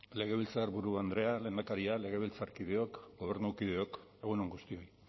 legebiltzarburu andrea lehendakaria legebiltzarkideok gobernukideok egun on guztioi